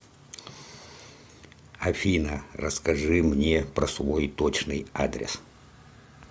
афина расскажи мне про свой точный адрес